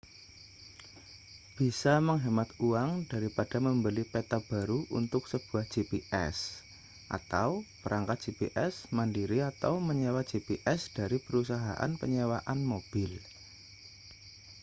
bisa menghemat uang daripada membeli peta baru untuk sebuah gps atau perangkat gps mandiri atau menyewa gps dari perusahaan penyewaan mobil